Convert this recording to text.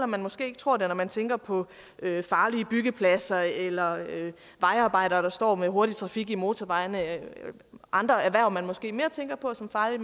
man måske ikke tror det når man tænker på farlige byggepladser eller vejarbejdere der står med hurtig trafik på motorvejene eller andre erhverv man måske mere tænker på som farlige